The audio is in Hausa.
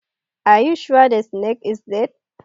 Are you sure the snake is dead